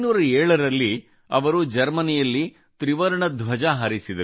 1907 ರಲ್ಲಿ ಅವರು ಜರ್ಮನಿಯಲ್ಲಿ ತ್ರಿವರ್ಣ ಧ್ವಜ ಹಾರಿಸಿದರು